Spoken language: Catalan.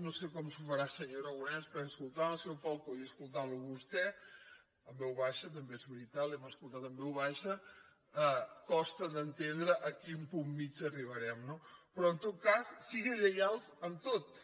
no sé com s’ho farà senyor aragonès perquè escoltant el senyor falcó i escoltant lo a vostè en veu baixa també és veritat l’hem escoltat en veu baixa costa d’entendre a quin punt mitjà arribarem no però en tot cas siguin lleials en tot